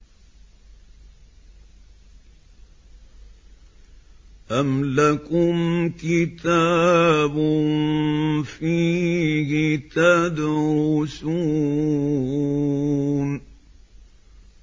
أَمْ لَكُمْ كِتَابٌ فِيهِ تَدْرُسُونَ